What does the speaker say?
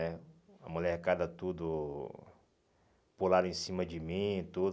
né A molecada tudo... Pularam em cima de mim, tudo.